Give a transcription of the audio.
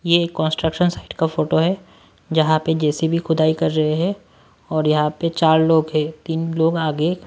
ये construction site का photo है जहां पे जे_सी_ वी खुदाई कर रहे हैं और यहां पे चार लोग है तीन लोग आगे--